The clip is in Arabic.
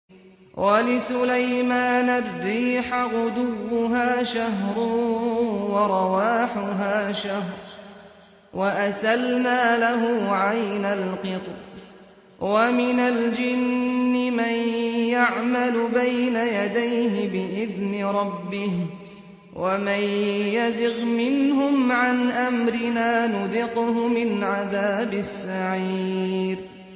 وَلِسُلَيْمَانَ الرِّيحَ غُدُوُّهَا شَهْرٌ وَرَوَاحُهَا شَهْرٌ ۖ وَأَسَلْنَا لَهُ عَيْنَ الْقِطْرِ ۖ وَمِنَ الْجِنِّ مَن يَعْمَلُ بَيْنَ يَدَيْهِ بِإِذْنِ رَبِّهِ ۖ وَمَن يَزِغْ مِنْهُمْ عَنْ أَمْرِنَا نُذِقْهُ مِنْ عَذَابِ السَّعِيرِ